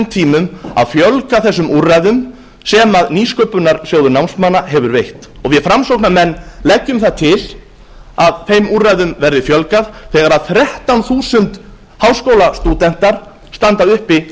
tímum að fjölga þessum úrræðum sem nýsköpunarsjóður námsmanna hefur veitt við framsóknarmenn leggjum það til að þeim úrræðum verði fjölgað þegar þrettán þúsund háskólastúdentar standa uppi